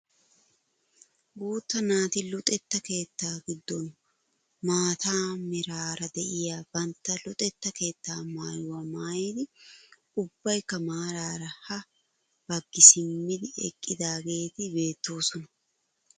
Guutta naati luxetta keettaa giddon maata meraara de'iyaa bantta luxetta keettaa maayuwaaa maayidi ubbaykka maaraara ha baggi simmidi eqqidaageti beettoosona.